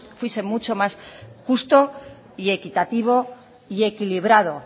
fuese mucho más justo y equitativo y equilibrado